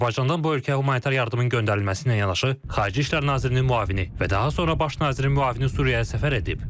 Azərbaycandan bu ölkəyə humanitar yardımın göndərilməsi ilə yanaşı, xarici İşlər nazirinin müavini və daha sonra baş nazirin müavini Suriyaya səfər edib.